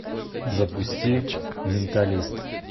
запусти менталист